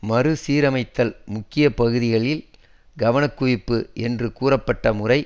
மறுசீரமைத்தல் முக்கிய பகுதிகளில் கவனக்குவிப்பு என்று கூறப்பட்ட முறை